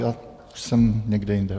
Já už jsem někde jinde.